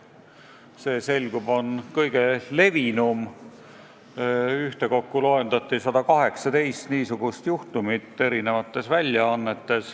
See, selgub, on kõige levinum: ühtekokku loendati eri väljaannetes 118 niisugust juhtumit.